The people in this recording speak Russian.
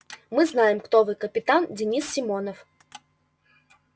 мы знаем кто вы капитан денис симонов